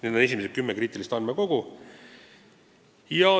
Need on esimesed kümme kriitilist andmekogu.